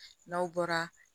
N'aw bɔra